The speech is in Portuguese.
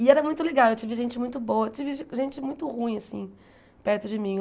E era muito legal, eu tive gente muito boa, eu tive gente muito ruim, assim, perto de mim.